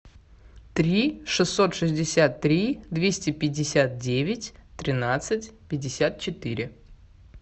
три шестьсот шестьдесят три двести пятьдесят девять тринадцать пятьдесят четыре